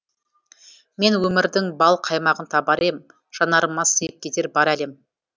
мен өмірдің бал қаймағын табар ем жанарыма сыйып кетер бар әлем